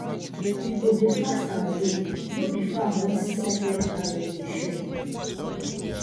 we go dey fast and pray no be farm when sacred harvest day show